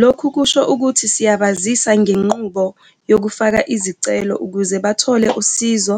Lokhu kusho ukuthi siyabasiza ngenqubo yokufaka izicelo ukuze bathole usizo